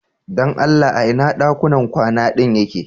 Dan Allah ina ɗakunan kwana din yake?